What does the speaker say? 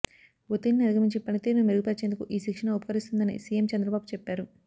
ఒత్తిడిని అధిగమించి పనితీరును మెరుగుపర్చేందుకు ఈ శిక్షణ ఉపకరిస్తుందని సీఎం చంద్రబాబు చెప్పారు